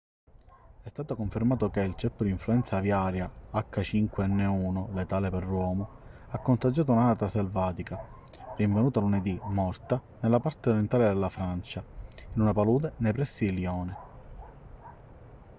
è stato confermato che il ceppo di influenza aviaria h5n1 letale per l'uomo ha contagiato un'anatra selvatica rinvenuta lunedì morta nella parte orientale della francia in una palude nei pressi di lione